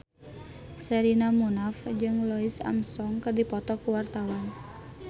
Sherina Munaf jeung Louis Armstrong keur dipoto ku wartawan